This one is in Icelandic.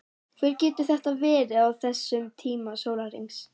Hver getur þetta verið á þessum tíma sólarhrings?